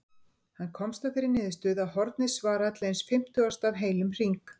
Hann komst að þeirri niðurstöðu að hornið svaraði til eins fimmtugasta af heilum hring.